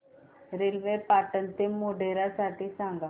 railway Patan ते मोढेरा साठी सांगा